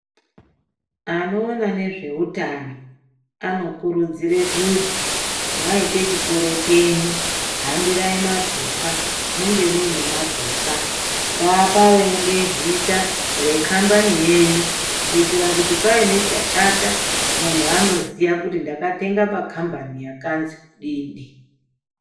Anoona ngezveutano anokurudzira kuti mwaite chitoro chenyu hambirai mapepa munge mune mapepa ngapange pane zita rekhambani yenyu kuitira paine chashata muntu anoziya kuti ndakatenga pakhambani yakanzi kudii dii.